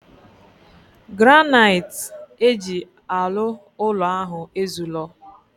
Granniite eji alu ulo ahu ezulo.